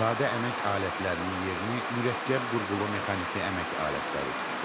Sadə əmək alətlərinin yerini mürəkkəb qurğulu mexaniki əmək alətləri tutdu.